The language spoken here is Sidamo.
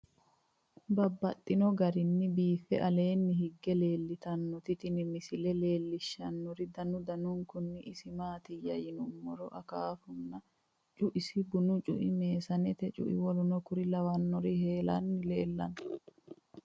Babaxxittinno garinni biiffe aleenni hige leelittannotti tinni misile lelishshanori danu danunkunni isi maattiya yinummoro akaafunna cuisi, bunnu cui, meesannete cui, wkl heeranna leellanno